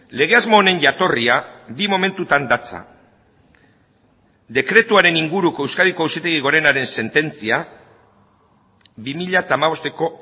lege asmo honen jatorria bi momentutan datza dekretuaren inguruko euskadiko auzitegi gorenaren sententzia bi mila hamabosteko